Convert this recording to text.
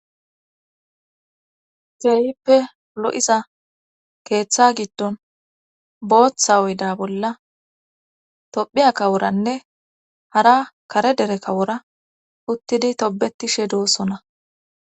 Ke'ippe lo'iza keeththa giddon booththa oyda bolla tophphiya kaworanne hara kare dere kawora uttidi tobetishe doosona